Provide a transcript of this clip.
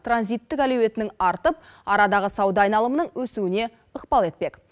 транзиттік әлеуетінің арттып арадағы сауда айналымының өсуіне ықпал етпек